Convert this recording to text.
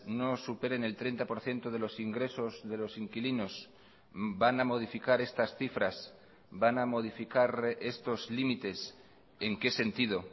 no superen el treinta por ciento de los ingresos de los inquilinos van a modificar estas cifras van a modificar estos límites en qué sentido